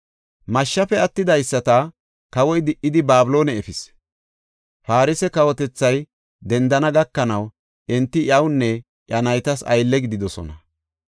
Mashshafe attidaysata kawoy di77idi Babiloone efis. Farse kawotethay dendana gakanaw enti iyawunne iya naytas aylle gididosona.